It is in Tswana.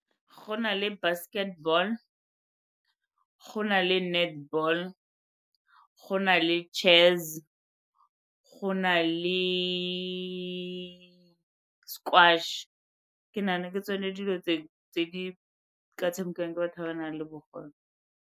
Go na le basketball, go na le netball, go na le chess, go na le ke nagana ke tsone dilo tse di ka tshamekiwang ke batho ba ba nang le bogole.